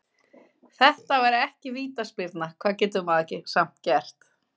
Þetta var ekki vítaspyrna, hvað getur maður samt gert?